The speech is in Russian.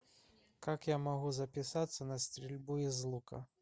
как я могу записаться на стрельбу из лука